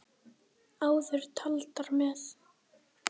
Áður taldar með